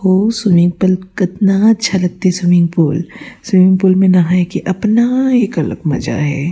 अउ swimming pool कतना अच्छा लगथे स्विमिंग पूल स्विमिंग पूल में नहाए के अपना एक मजा हे।